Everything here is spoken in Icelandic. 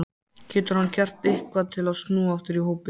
Getur hann gert eitthvað til að snúa aftur í hópinn?